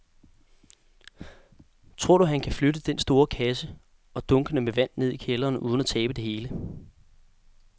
Tror du, at han kan flytte den store kasse og dunkene med vand ned i kælderen uden at tabe det hele?